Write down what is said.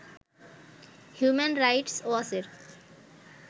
human rights ওয়াচের